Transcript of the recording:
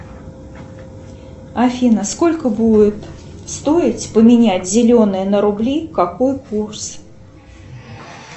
афина сколько будет стоить поменять зеленые на рубли какой курс